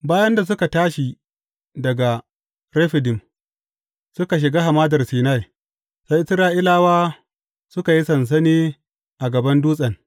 Bayan da suka tashi daga Refidim, suka shiga Hamadar Sinai, sai Isra’ilawa suka yi sansani a gaban dutsen.